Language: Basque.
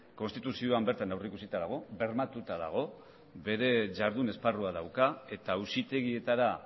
konstituzioan bertan aurrikusita dago bermatuta dago bere jardun esparrua dauka eta auzitegietara